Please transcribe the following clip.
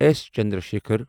S Chandrashekhar